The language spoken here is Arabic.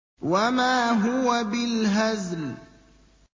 وَمَا هُوَ بِالْهَزْلِ